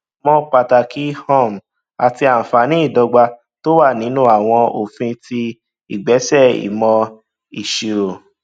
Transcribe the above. mọ pàtàkì um àti àǹfààní ìdọgba tó wà nínú àwọn òfin àti ìgbésẹ ìmọ ìṣirò